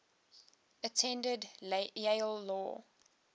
attended yale law